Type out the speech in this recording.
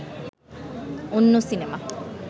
অন্য সিনেমা